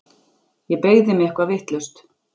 Ég beygði mig eitthvað vitlaust.